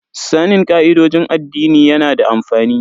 Sanin ka'idojin addini yana da amfani.